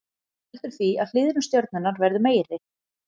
Það veldur því að hliðrun stjörnunnar verður meiri.